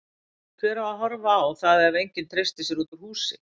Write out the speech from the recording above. Hver á að horfa á það ef enginn treystir sér út úr húsi?